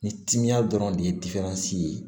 Ni timiya dɔrɔn de ye ye